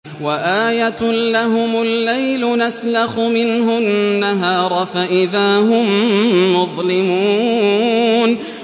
وَآيَةٌ لَّهُمُ اللَّيْلُ نَسْلَخُ مِنْهُ النَّهَارَ فَإِذَا هُم مُّظْلِمُونَ